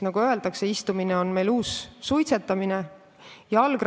Istumine on meil uus suitsetamine, nagu öeldakse.